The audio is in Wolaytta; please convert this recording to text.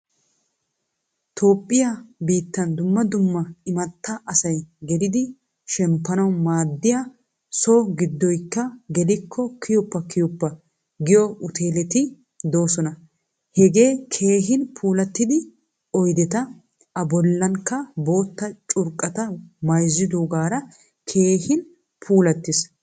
Toophphiyaa biittan dumma dumma immata asay gelidi shemppanawu maadiyaa so giddoykka geliko kiyoppa kiyoppa giyo ueteleti deosona. Hagee keehin puulattida oyddetta, a bollankka botta curqqatta maayzzogara keehin puulattiis.